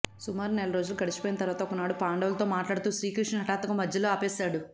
సుమారు నెల రోజులు గడిచిపోయిన తర్వాత ఒకనాడు పాండవులతో మాట్లాడుతూ శ్రీకృష్ణుడి హఠాత్తుగా మధ్యలో ఆపేశాడు